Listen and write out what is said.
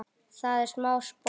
Það er smá spotti.